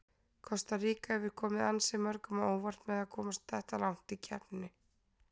Kosta Ríka hefur komið ansi mörgum á óvart með að komast þetta langt í keppninni.